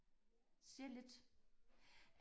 ser lidt